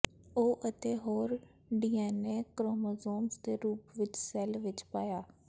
ਉਹ ਅਤੇ ਹੋਰ ਡੀਐਨਏ ਕ੍ਰੋਮੋਸੋਮਜ਼ ਦੇ ਰੂਪ ਵਿੱਚ ਸੈੱਲ ਵਿਚ ਪਾਇਆ